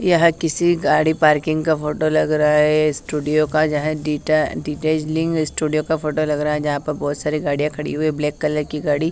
यह किसी गाड़ी पार्किंग का फोटो लग रहा है स्टूडियो का यहां डीटा डीटाचलिंग स्टूडियो का फोटो लग रहा है यहां पर बहुत सारी गाड़ियां खड़ी हुई है ब्लैक कलर की गाड़ी।